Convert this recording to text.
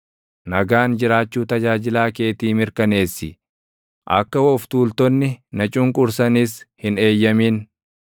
Nagaan jiraachuu tajaajilaa keetii mirkaneessi; akka of tuultonni na cunqursanis hin eeyyamin.